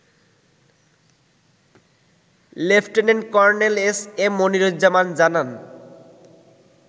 Lieutenant Colonel S M Moniruzzaman জানান